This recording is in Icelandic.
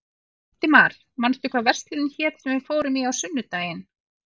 Hildimar, manstu hvað verslunin hét sem við fórum í á sunnudaginn?